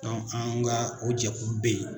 Dɔnku, an ka o jɛkulu bɛ yen.